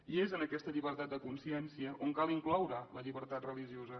i és en aquesta llibertat de consciència on cal incloure la llibertat religiosa